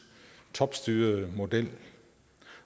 topstyrede model